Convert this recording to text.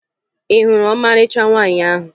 Ị hụrụ ọmarịcha nwaanyị ahụ?